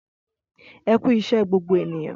Ẹkú iṣẹ gbogbo ènìyàn